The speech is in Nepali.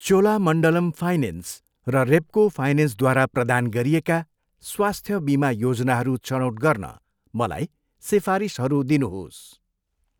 चोलामण्डलम फाइनेन्स र रेप्को फाइनेन्सद्वारा प्रदान गरिएका स्वास्थ्य बिमा योजनाहरू छनौट गर्न मलाई सिफारिसहरू दिनुहोस्।